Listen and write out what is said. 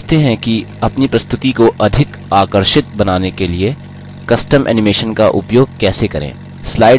अब सीखते हैं कि अपनी प्रस्तुति को अधिक आकर्षित बनाने के लिए custom animation का उपयोग कैसे करें